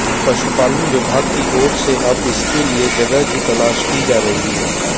पशुपालन विभाग की अोर से अब इसके लिये जगह की तलाश की जा रही है